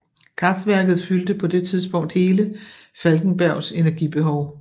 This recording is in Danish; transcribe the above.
Kraftærket fyldte på det tidspunkt hele Falkenbergs energibehov